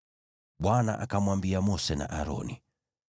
Bwana akamwambia Mose na Aroni,